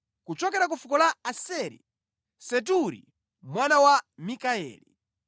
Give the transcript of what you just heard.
kuchokera ku fuko la Aseri, Seturi mwana wa Mikayeli;